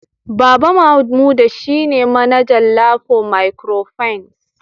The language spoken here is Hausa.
Baba Mamuda shine manaja Lapo microfinance